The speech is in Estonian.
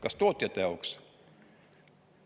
Kas tootjate jaoks?